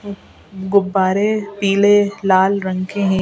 ए गुब्बारे पीले लाल रंग के हैं।